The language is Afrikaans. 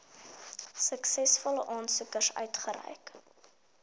suksesvolle aansoekers uitgereik